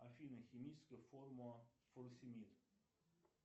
афина химическая формула фуросемид